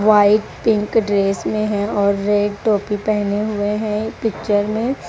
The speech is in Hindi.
व्हाईट पिंक ड्रेस में है और रेड टोपी पहने हुए हैं पिक्चर में।